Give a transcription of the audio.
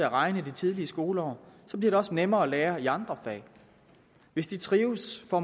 regne i de tidlige skoleår bliver det også nemmere at lære i andre fag hvis de trives og